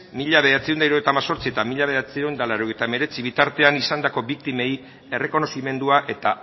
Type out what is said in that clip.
mila bederatziehun eta hirurogeita hemezortzi eta mila bederatziehun eta laurogeita hemeretzi bitartean izandako biktimei errekonozimendua eta